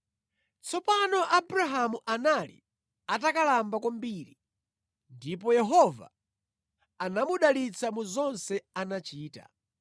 Tsopano Abrahamu anali atakalamba kwambiri, ndipo Yehova anamudalitsa mu zonse anachita.